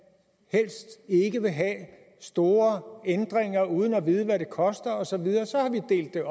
helst ikke have store ændringer uden at vide hvad de koster og så videre så har vi delt det